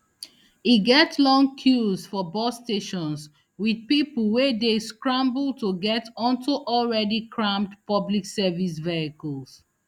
e get long queues for bus stations wit pipo wey dey scramble to get onto already crammed public service vehicles